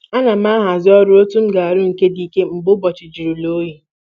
Ana m ahazi ọrụ otu m ga-arụ nke dị ike mgbe ụbọchị jụrụla oyi.